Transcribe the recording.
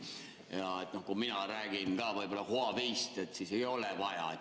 Võib-olla, kui mina räägin Huaweist, siis ei ole vaja ...